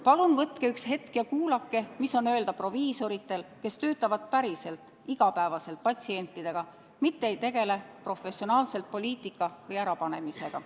"Palun võtke üks hetk ja kuulake, mis on öelda proviisoritel, kes töötavad päriselt, igapäevaselt patsientidega, mitte ei tegele professionaalselt poliitika või ärapanemisega.